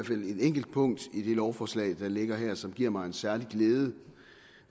enkelt punkt i det lovforslag der ligger her som giver mig en særlig glæde